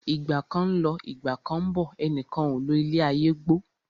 Ìgbà kan ń lọ, Ìgbà kán ń bọ̀, ẹnìkan ò lo ilé ayé gbó.